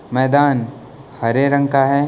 मैदान हरे रंग का है।